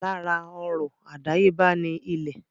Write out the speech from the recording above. Lára ọrọ̀ àdáyébá ni ilẹ̀.